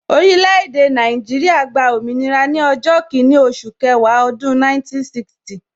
Orile-ede Naijiria gba òmìnira ni ọjọ́ kinni oṣù kẹwàá ọdún 1960